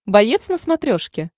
боец на смотрешке